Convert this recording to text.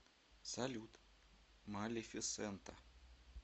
салют малефисента